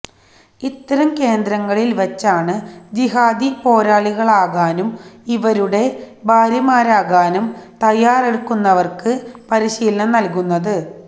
ഇത്തരം കേന്ദ്രങ്ങളിൽ വച്ചാണ് ജിഹാദി പോരാളികളാകാനും ഇവരുടെ ഭാര്യമാരാകാനും തയ്യാറെടുക്കുന്നവർക്ക് പരിശീലനം നൽകുന്നത്